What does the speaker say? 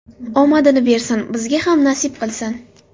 Omadini bersin, bizga ham nasib qilsin.